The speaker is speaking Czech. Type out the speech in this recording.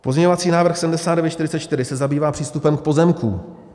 Pozměňovací návrh 7944 se zabývá přístupem k pozemkům.